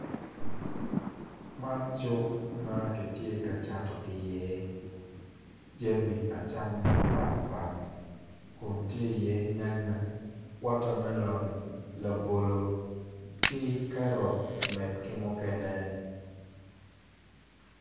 Man cuk ma kitye ka cato iye kami acama mapatpat kun tye oiye nyanya wota melon labolo ki kerot med ki mukene